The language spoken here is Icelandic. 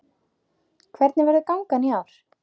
Hvernig verður gangan í ár?